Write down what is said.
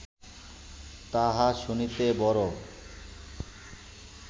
তাহা শুনিতে বড়